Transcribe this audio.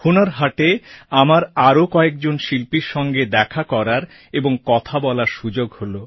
হুনর হাটে আমার আরও কয়েকজন শিল্পীর সঙ্গে দেখা করার এবং কথা বলার সুযোগ হল